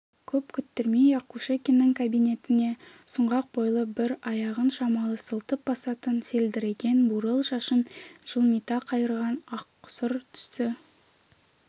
көп күттірмей-ақ кушекиннің кабинетіне сұңғақ бойлы бір аяғын шамалы сылтып басатын селдіреген бурыл шашын жылмита қайырған ақсұр түсі